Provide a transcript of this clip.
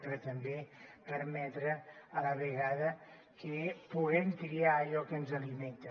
però també permetre a la vegada que puguem triar allò que ens alimenta